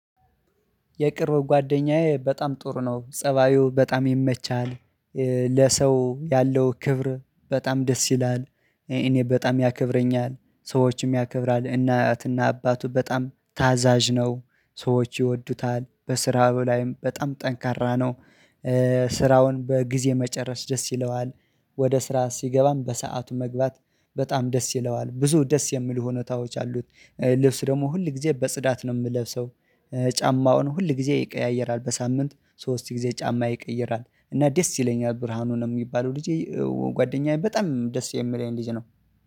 የቅርብ ጓደኛዬ በጣም ጥሩ ነው፤ ፀባዩ በጣም ይመቻል፤ ለሰው ያለው ክብር በጣም ደስ ይላል፤ እኔን በጣም ያከብረኛል፤ ሰዎችንም ያከብራል፤ ለእናትና አባቱ በጣም ታዛዥ ነው፤ ሰዎች ይወዱታል በስራው ላይም በጣም ጠንካራ ነው። በጊዜ መጨረስ ደስ ይለዋል፤ ወደ ስራ ሲገባም በሰአቱ መግባት በጣም ደስ ይለዋል፤ ብዙ ደስ የሚል ሁኔታዎች አሉት። ልብስ ደግሞ ሁል ጊዜ በጽዳት ነው የምለብሰው፤ ጫማውን ሁል ጊዜ ይቀያየራል፤ በሳምንት ሶስት ጊዜ ጫማ ይቀይራል፤ እና ደስ ይለኛል ብርሃኑ የሚባለው ልጁ ጓደኛዬ በጣም ደስ የምለኝ ልጅ ነው።